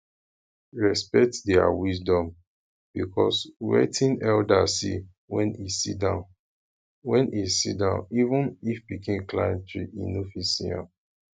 respect their wisdom because wetin elder see when e sitdown when e sitdown even if pikin climb tree e no fit see am